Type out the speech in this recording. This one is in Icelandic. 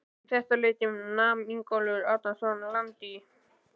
Um þetta leyti nam Ingólfur Arnarson land í